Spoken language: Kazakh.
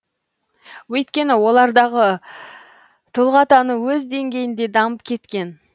өйткені олардағы тұлғатану өз деңгейінде дамып кеткен